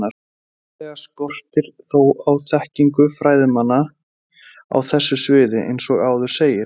Tilfinnanlega skortir þó á þekkingu fræðimanna á þessu sviði eins og áður segir.